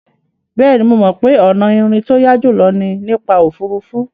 Bẹ́ẹ̀ni, mo mọ̀ pé ọ̀nà ìrìn tó yá jùlọ ni nípa òfuurufú.